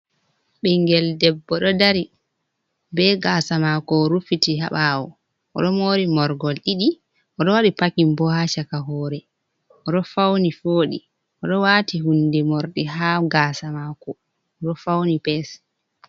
Bingel ɗebbo ɗo ɗari. Be gasa mako orufiti ha bawo. Oɗo mori morgol ɗiɗi. Oɗ waɗi pakin bo ha chaka hore. Oɗo fauni voɗi. Oɗo wati hunɗe morɗi ha gasa mako. Oɗo fauni pes.